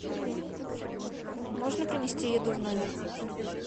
можно принести еду в номер